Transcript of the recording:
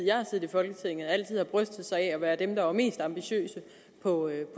folketinget altid har brystet sig af at være dem der var mest ambitiøse på